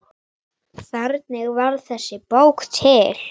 Hvernig varð þessi bók til?